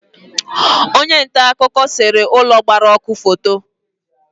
Onye nta akụkọ sere ụlọ gbara ọkụ foto